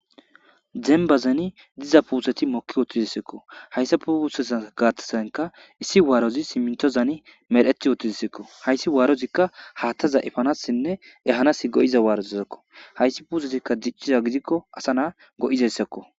dembazeni diza puuseti moki oottizissekko hayssa pe usesa gaattesanka issi waarozi simintozani mer7eti ootizisekko hayssi waarozikka haattaza ifanassinne ehanas go7iza waarozssakko hayssi puusetikka dicciza gidikko asa na go7izessekko